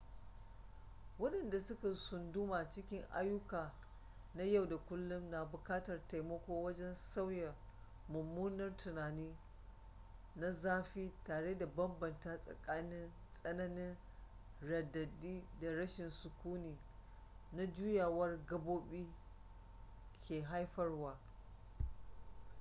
wadanda suka sunduma cikin ayuka na yau da kullum na bukatar taimako wajen sauya mummunar tunani na zafi tare da bambanta tsakanin tsananin radadi da rashin sukuni da juyawar gabobi ke haifarwa